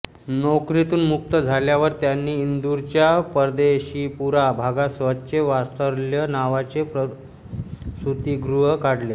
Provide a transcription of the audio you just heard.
नोकरीतून मुक्त झाल्यावर त्यांनी इंदूरच्या परदेशीपुरा भागात स्वतःचे वात्सल्य नावाचे प्रसूतिगृह काढले